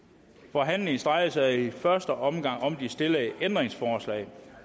forhandlingen drejer sig i første omgang om de stillede ændringsforslag